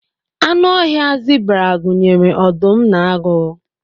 anụ ọhịa zebra gụnyere ọdụm na agụ